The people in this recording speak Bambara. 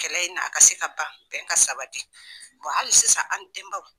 Kɛlɛ in na a ka se ka ban bɛn ka sabati hali sisan an denbaw.